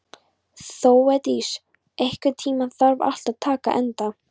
Þeódís, einhvern tímann þarf allt að taka enda.